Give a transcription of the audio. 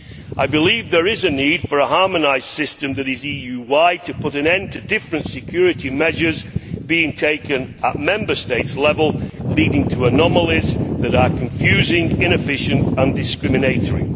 I believe there is a need for a harmonised system that is EU wide to put an end to different security measures being taken at Member State level, leading to anomalies that are confusing, inefficient and discriminatory.